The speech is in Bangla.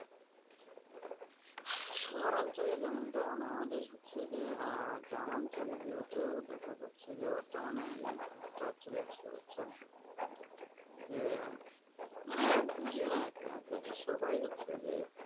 শহর অঞ্চলের যেমন-তেমন আমাদের হচ্ছে যে আহ গ্রামাঞ্চল গুলো তেও দেখা যাচ্ছে বর্তমানেএই ভাবটা চলে আসছে বুঝছেন যে মানে বুঝিনা কেন জানি সবাই যে?